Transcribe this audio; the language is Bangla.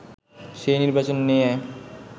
সেই নির্বাচন নিয়ে